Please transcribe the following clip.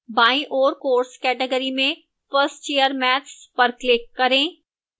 बाईं ओर course category में 1st year maths पर click करें